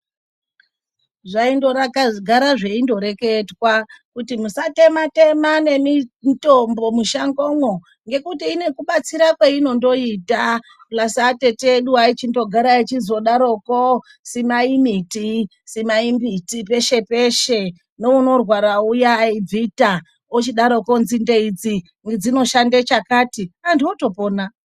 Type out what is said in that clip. Zvaindogara zveindoreketwa kuti musatema-tema nemitombo mushangomwo, ngekuti ine kubatsira kweinondoita purazi atete edu eichindogara echizodaroko "simai mbiti, simai mbiti peshe peshe ,neunorwara uya, aibvita ochidaroko nzinde idzi dzinoshande chakati, anhu otopona.